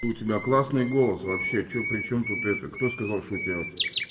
у тебя классный голос вообще что причём тут это кто сказал что у тебя